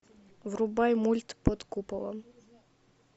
врубай мульт под куполом